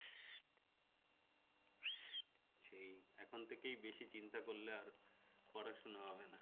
সেই এখন থেকেই বেশি চিন্তা করলে আর পড়াশোনা হবে না